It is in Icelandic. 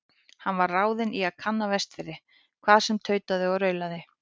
Hann var ráðinn í að kanna Vestfirði, hvað sem tautaði og raulaði.